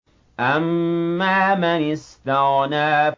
أَمَّا مَنِ اسْتَغْنَىٰ